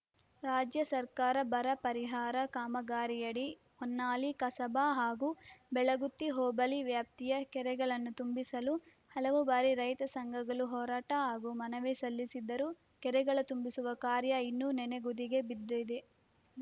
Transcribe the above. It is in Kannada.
ರಾಜ್ಯ ಸರ್ಕಾರ ಬರಪರಿಹಾರ ಕಾಮಗಾರಿಯಡಿ ಹೊನ್ನಾಳಿ ಕಸಬಾ ಹಾಗೂ ಬೆಳಗುತ್ತಿ ಹೋಬಳಿ ವ್ಯಾಪ್ತಿಯ ಕೆರೆಗಳನ್ನ ತುಂಬಿಸಲು ಹಲವು ಬಾರಿ ರೈತ ಸಂಘಗಳು ಹೋರಾಟ ಹಾಗೂ ಮನವಿ ಸಲ್ಲಿಸಿದ್ದರೂ ಕೆರೆಗಳ ತುಂಬಿಸುವ ಕಾರ್ಯ ಇನ್ನೂ ನೆನೆಗುದಿಗೆ ಬಿದ್ದಿದೆ